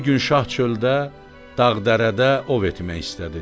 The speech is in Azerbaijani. Bir gün şah çöldə, dağ-dərədə ov etmək istədi.